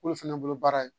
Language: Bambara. K'olu fana bolo baara ye